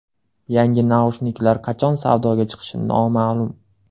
Yangi naushniklar qachon savdoga chiqishi noma’lum.